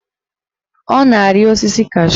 Ọ na-arị osisi cashu